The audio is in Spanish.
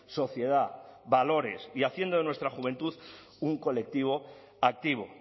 sociedad valores y haciendo de nuestra juventud un colectivo activo